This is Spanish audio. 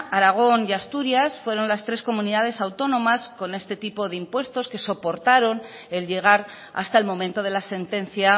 aragón y asturias fueron las tres comunidades autónomas con este tipo de impuestos que soportaron el llegar hasta el momento de la sentencia